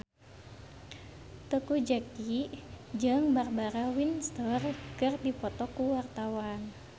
Teuku Zacky jeung Barbara Windsor keur dipoto ku wartawan